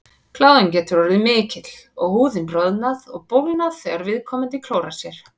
Kláðinn getur orðið mikill og húðin roðnað og bólgnað þegar viðkomandi klórar sér.